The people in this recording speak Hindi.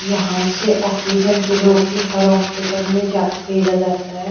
यहाँ से ऑक्सीजन के लोग के हर हॉस्पिटल में जा भेजा जाता है।